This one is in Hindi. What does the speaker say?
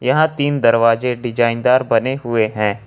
यहां तीन दरवाजे डिजाइन दार बने हुए हैं।